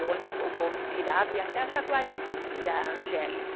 O bonde virava e ia até a Jaguaribe, descia a Angélica.